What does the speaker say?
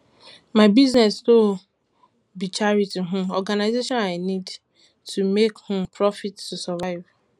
my business no um be charity um organzation i need to make um profit to survive